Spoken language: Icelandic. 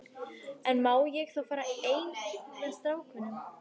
En má ég þá fara einn með strákunum?